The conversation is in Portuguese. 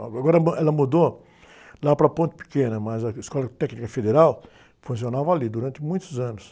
Agora ela mudou lá para a ponte pequena, mas a Escola Técnica Federal funcionava ali durante muitos anos.